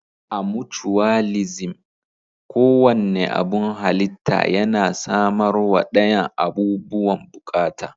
A mucuwalisim, ko wanne abun halitta yana samarwa dayan abubuwan bukata.